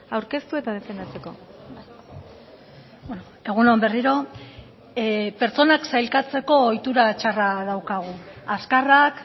aurkeztu eta defendatzeko egun on berriro pertsonak sailkatzeko ohitura txarra daukagu azkarrak